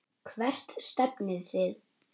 Hvert stefnið þið?